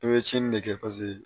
I bɛ tiɲɛni ne kɛ paseke